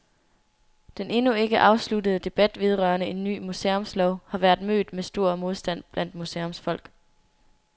Den endnu ikke afsluttede debat vedrørende en ny museumslov har været mødt med stor modstand blandt museumsfolk.